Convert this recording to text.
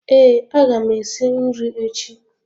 Ee aga m esi nri echi